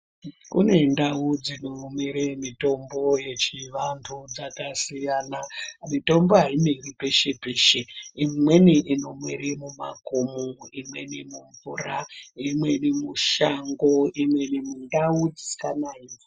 Kune ndau dzinomere mitombo yechivantu chakasiyana, mitombo haimeri peshe peshe, imweni inomere mumakomo, imweni mumvura, imweni mushango, imweni mundau dzisisanayi.